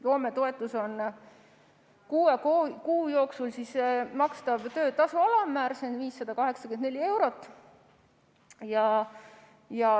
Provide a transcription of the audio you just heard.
Loometoetus on kuue kuu jooksul makstav töötasu alammäär, see on 584 eurot.